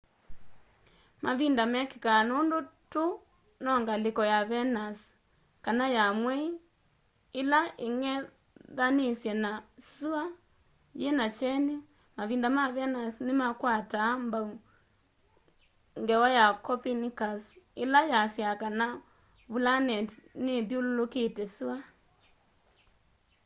mavinda mekîkaa nûndû tû no ngalîko ya venus kana ya mwei îla îng'ethanîsye na syûa yîna kyeni. mavinda ma venus nîmakwataa mbau ngewa ya copernicus îla yasyaa kana vulaneti nithyûlûlûkîte syûa